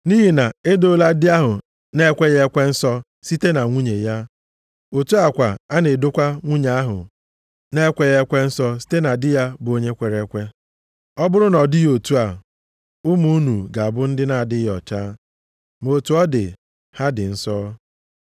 Nʼihi na edoola di ahụ na-ekweghị ekwe nsọ site na nwunye ya, otu a kwa a na-edokwa nwunye ahụ na-ekweghị ekwe nsọ site na di ya, bụ onye kwere ekwe. Ọ bụrụ na ọ dịghị otu a, ụmụ unu ga-abụ ndị na-adịghị ọcha. Ma otu ọ dị, ha dị nsọ.